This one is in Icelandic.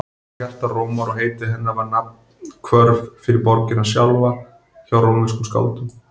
Hún var hjarta Rómar og heiti hennar var nafnhvörf fyrir borgina sjálfa hjá rómverskum skáldum.